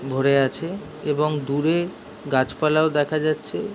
ভরে আছে এবং দূরে গাছ পালাও দেখা যাচ্ছে।